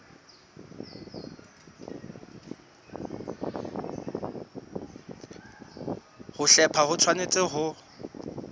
ho hlepha ho tshwanetse ho